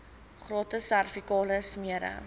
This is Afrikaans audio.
gratis servikale smere